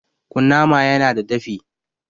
Kunnama ya na da dafi